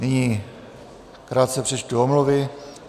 Nyní krátce přečtu omluvy.